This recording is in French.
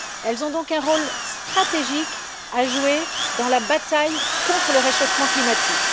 Elles ont donc un rôle stratégique à jouer dans la bataille contre le réchauffement climatique.